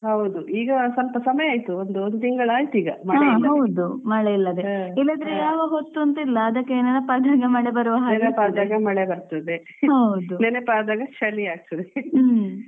ಈಗ ಸ್ವಲ್ಪ ಸಮಯಾಯಿತು ಒಂದ್ ಒಂದು ತಿಂಗಳಾಯ್ತು ಈಗ ಹಾ ಹೌದು ಮಳೆ ಇಲ್ಲದೆ